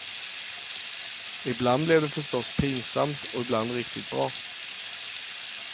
Ibland blev det förstås pinsamt och ibland riktigt bra.